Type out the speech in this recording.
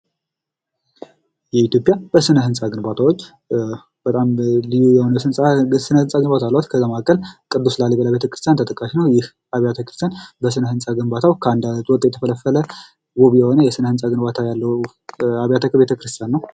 ኢትዮጵያ በስነህንጻ ግንባታዎች በጣም ልዩ የሆነ ስነህንጻዎች አሏት ከዛ መካከል ቅዱስ ላሊበላ ቤተክርስቲያን ተጠቃሽ ነው ይህ አብያተክርስቲያን በስነህንጻ ግንባታው ከአንድ አለት ወጥቶ የተፈለፈለ ውብ የሆነ የስራ ህንጻ ግንባታ ያለው አብያተክርስትያን ነው።